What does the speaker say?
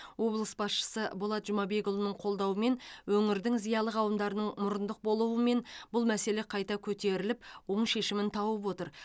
облыс басшысы болат жұмабекұлының қолдауымен өңірдің зиялы қауымдарының мұрындық болуы мен бұл мәселе қайта көтеріліп оң шешімін тауып отыр